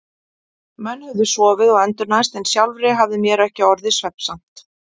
Menn höfðu sofið og endurnærst en sjálfri hafði mér ekki orðið svefnsamt.